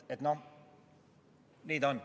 Nii ta on.